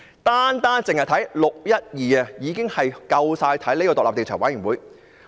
單是"六一二"事件已經足以成立專責委員會。